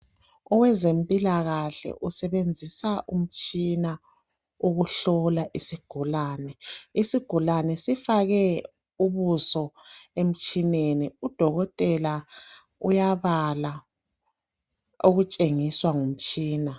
Owezempilakahle usebenzisa umtshina ukuhlola isigulani, isigulani sifake ubuso emtshineni , udokotela uyabala okutshengiswa ngumtshina.